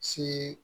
Si